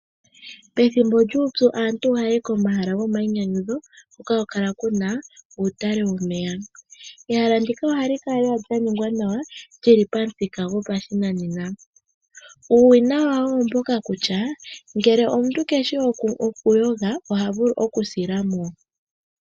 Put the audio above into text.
Pethimbo lyuupyu aantu ohaya yi komahala gomainyanyudho hoka haku kala kuna uutale womeya. Ehala ndika ohali kala lela lyaningwa nawa lili pamuthika gopashinanena. Uuwinayi wawo oomboka kutya ngele omuntu keshi oku yoga ota vulu oku sila mo.